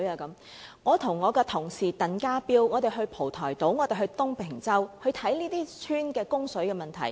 但我和我的同事鄧家彪議員到過蒲台島和東坪洲觀察這些鄉村的供水問題。